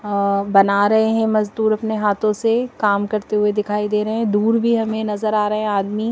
अ बना रहे हैं मजदूर अपने हाथों से काम करते हुए दिखाई दे रहे हैं दूर भी हमें नजर आ रहे हैं आदमी।